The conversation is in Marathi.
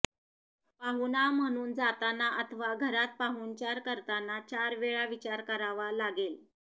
पाहुणा म्हणून जाताना अथवा घरात पाहुणचार करताना चार वेळा विचार करावा लागेल